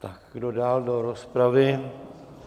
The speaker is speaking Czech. Tak kdo dál do rozpravy?